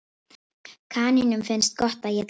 Kanínum finnst gott að éta gras.